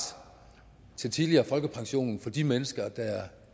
til tidligere folkepension for de mennesker der er